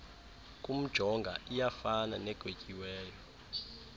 kumjonga iyafana negwetyiweyo